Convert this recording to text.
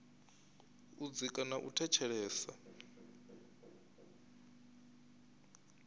u dzika na u ṅetshedza